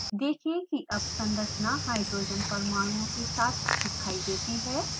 देखें की अब संरचना hydrogen परमाणुओं के साथ दिखाई देती है